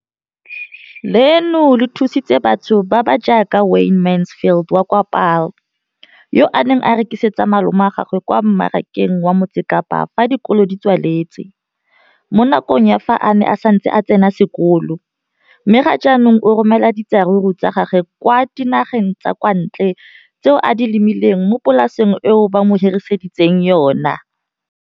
Leno le thusitse batho ba ba jaaka Wayne Mansfield, 33, wa kwa Paarl, yo a neng a rekisetsa malomagwe kwa Marakeng wa Motsekapa fa dikolo di tswaletse, mo nakong ya fa a ne a santse a tsena sekolo, mme ga jaanong o romela diratsuru tsa gagwe kwa dinageng tsa kwa ntle tseo a di lemileng mo polaseng eo ba mo hiriseditseng yona.